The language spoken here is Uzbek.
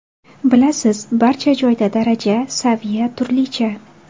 Bilasiz, barcha joyda daraja, saviya turlicha.